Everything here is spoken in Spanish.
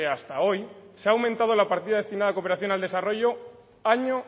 hasta hoy se ha aumentado la partida destinada a cooperación al desarrollo año